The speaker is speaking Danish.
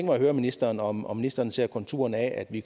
mig at høre ministeren om om ministeren ser konturerne af at vi